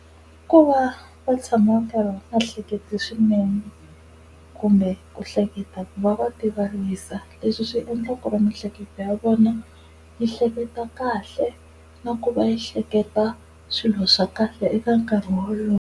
Ku va va tshama karhi va hlekete swinene kumbe ku hleketa ku va va ti vavisa leswi swi endla ku ri miehleketo ya vona yi hleketa kahle na ku va yi hleketa swilo swa kahle eka nkarhi wolowo.